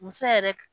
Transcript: Muso yɛrɛ